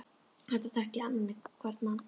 Þarna þekkti ég annan hvern mann.